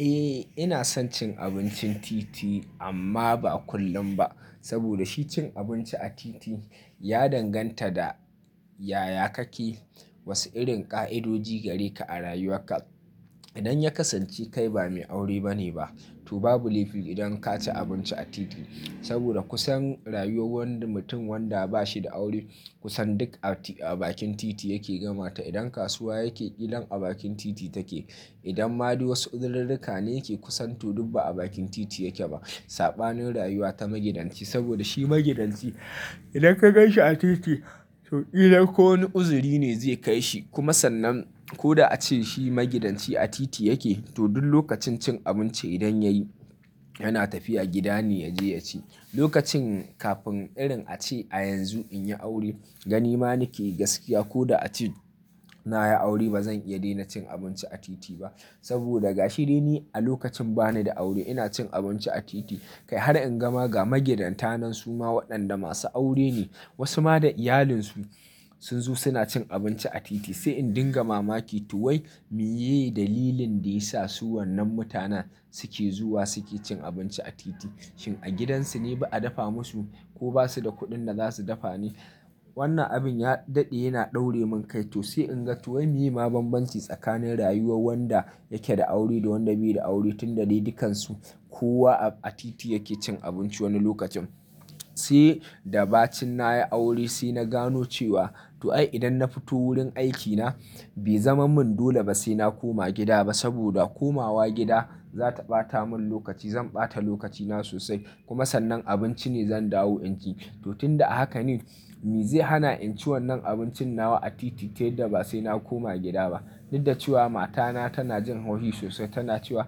Eh ina son cin abincin titi amma ba kullum ba. Saboda shi cin abinci a titi ya danganta da yayakake, wasu irin ƙa'idoji gare ka a rayuwa ka. Idan ya kasanci kai ba mai aure bane ba to babu laifi idan ka ci abinci a titi. Saboda kusan rayuwar wanda mutum wanda bashi da aure kusan duk a bakin titi yake gamata. Idan kasuwa yake ƙilan a bakin titi take. Idan ma du wasu uzururruka ne ke kusan to ba a bakin titi yake ba saɓanin rayuwa ta magidanci saboda shi magidanci idan ka gan shi a titi to ƙilan ko wani uzuri ne zai kai shi kuma sannan ko da a ce shi magidanci a titi yake to duk lokacin cin abinci idan yayi yana tafiya gida ne ya je ya ci. Lokacin kafin irin a ce a yanzu in yi aure gani ma nake gaskiya ko da a ce na yi aure bazan iya daina cin abinci a titi ba. Saboda ga shi dai ni a lokacin bani da aure ina cin abinci a titi kai har in gama ga magidanta nan suma waɗanda masu aure ne wasu ma da iyalinsu sun zo suna cin abinci a titi. Sai in dinga mamaki to wai me ye dalilin da yasa su wannan mutan suke zuwa suke cin abinci a titi? Shin a gidansu ne ba a dafa musu ko basu da kuɗin da za su dafa ne? Wannan abin ya daɗe yana daure min kai to sai in ga to wai meye ma banbanci tsakanin rayuwar wanda yake da aure da wanda bai da aure tun da dai dukansu kowa a titi yake cin abinci wani lokacin. Sai da ba cin na yi aure sai na gano cewa to ai idan na fito wurin aikina bai zaman mun dole ba sai na koma gida ba saboda komawa gida za ta ɓata mun lokaci zan ɓata lokacina sosai kuma sannan abinci ne zan dawo in ci. To tun da haka ne me zai hana in ci wannan abincin nawa a titi ta yadda ba sai na koma gida ba. Duk da cewa matana tana jin haushi sosai tana cewa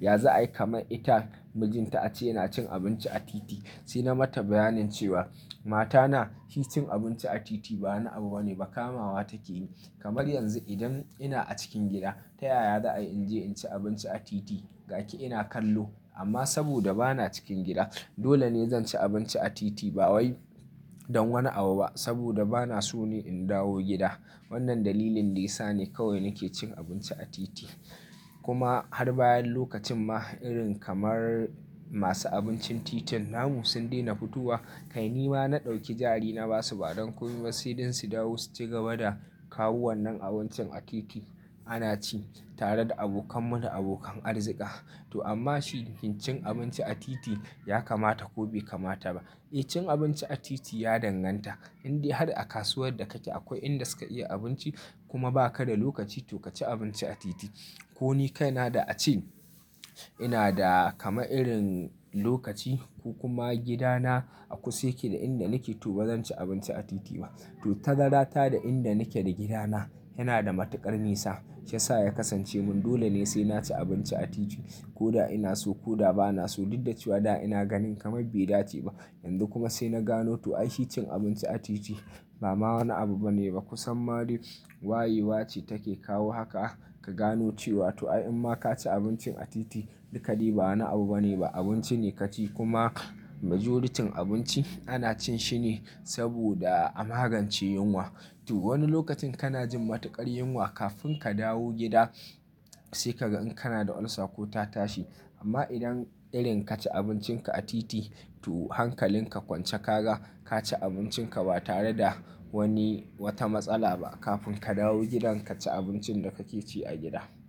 ya za'a yi kamar ita mijinta a ce yana cin abinci a titi. Sai na mata bayanin cewa mata na shi cin abinci a titi ba na abu bane ba kamawa take yi. Kamar yanzu idan ina a cikin gida ta yaya za'a in je in ci abinci a titi gaki ina kallo. Amma saboda bana cikin gida dole ne zan ci abinci a titi ba wai don wani abu ba saboda bana so ne in dawo gida. Wannan dalilin da yasa ne kawai nake cin abinci a titi. Kuma har bayan lokacin ma irin kamar masu abincin titin namu sun daina fitowa kai ni ma na ɗauki jarina basu ba don kuma sai dan su dawo su cigaba da kawo wannan abincin a titi ana ci tare da abokan mu na abokan arzika. To amma shi kin cin abinci a titi ya kamata ko bai kamata ba? Eh cin abinci a titi ya danganta indai har a kasuwar da kake akwai inda suka iya abinci kuma ba ka da lokaci to ka ci abinci a titi. Ko ni kai na da a ce ina da kamar irin lokaci ko kuma gida na a kusa yake da inda nake to bazan ci abinci a titi ba. To tazara ta da inda nake da gida na yana da matuƙar nisa shiyasa ya kasance mun dole ne sai na ci abinci a titi ko da ina so ko da bana so duk da cewa da ina ganin kamar bai dace ba. Yanzu kuma sai na gano cin abinci a titi ba wani abu bane ba kusan ma dai waye wace take kawo haka, ka gane cewa inma kaci abinci a titi duka dai ba wani abubane ba, abinci ne kaci kuma majorityn abinci ana cin shi ne saboda a magance yunwa. To wani lokacin kana jin matuƙar yunwa kafin ka dawo gida sai ka ga in kana da ulcer ko ta tashi. Amma idan irin ka ci abincin ka a titi to hankalin ka kwance ka ga ka ci abincin ka ba tare da wani wata matsala ba kafin ka dawo gidan ka ci abincin da kake ci a gida.